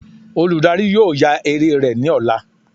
Oludari yóò ya eré rẹ ni ọla.